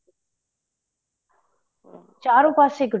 ਚਾਰੋ ਪਾਸੇ ਇੱਕ